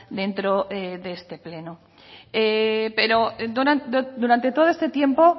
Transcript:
dentro de este pleno pero durante todo este tiempo